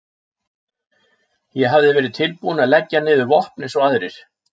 Ég hafði verið tilbúinn að leggja niður vopn eins og aðrir.